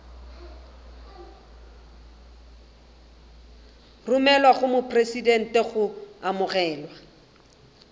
romelwa go mopresidente go amogelwa